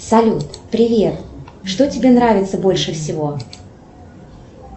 салют привет что тебе нравится больше всего